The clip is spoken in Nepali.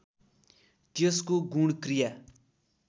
त्यसको गुण क्रिया